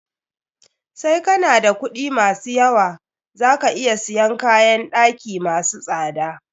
Sai kana da kuɗi ma su yawa, za ka iya siyan kayn ɗaki masu tsada.